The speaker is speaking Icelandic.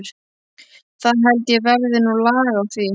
Það held ég verði nú lag á því.